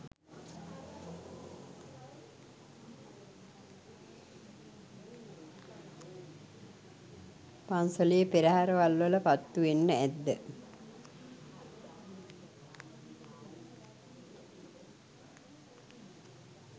පන්සලේ පෙරහැරවල් වල පත්තුවෙන්ඩ ඇද්ද?